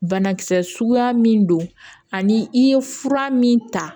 Banakisɛ suguya min don ani i ye fura min ta